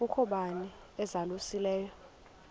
kukho bani uzalusileyo